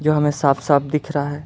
ये हमें साफ साफ दिख रहा है।